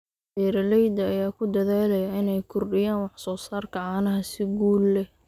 Beeralayda ayaa ku dadaalaya inay kordhiyaan wax soo saarka caanaha si guul leh.